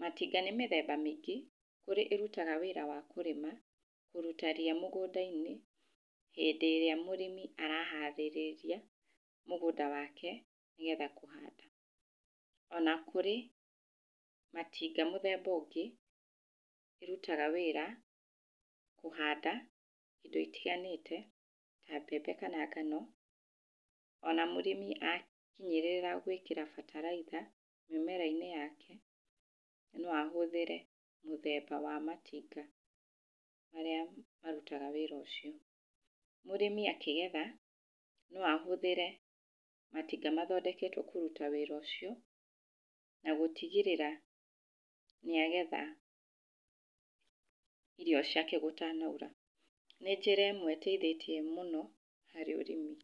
matinga nĩ mĩthemba mĩingĩ, kũrĩ ĩrutaga wĩra wa kũrĩma kũruta ria mũgũnda-inĩ hĩndĩ ĩria mũrĩmi araharĩrĩria mũgũnda wake nĩgetha kũhanda, ona kũrĩ matinga mũthemba ũngĩ ũrutaga wĩra kũhanda indo itiganĩte ta mbembe kana ngano, ona mũrĩmi akinyĩrĩra gwĩkĩra bataraitha mĩmera-inĩ yake, noahũthíĩre mũthemba wa matinga marĩa marutaga wĩra ũcio. Mũrĩmi akĩgetha no ahũthĩre matinga mathondeketwo kũruta wĩra ũcio, na gũtigĩrĩra nĩagetha irio ciake gũtanaura, nĩ njĩra ĩmwe ĩteithĩtie mũno harĩ ũrĩmi.